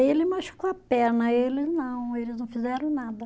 Ele machucou a perna, eles não, eles não fizeram nada.